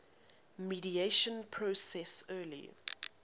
mediation process early